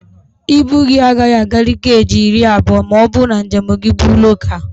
Ibu gị agaghị akarị keeji iri abụọ ma ọ bụrụ na njem gị bụ lokaalụ